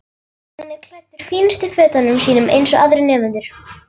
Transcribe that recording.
Hann er klæddur fínustu fötunum sínum eins og aðrir nemendur.